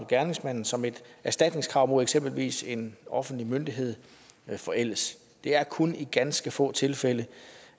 gerningsmanden som et erstatningskrav mod eksempelvis en offentlig myndighed forældes det er kun i ganske få tilfælde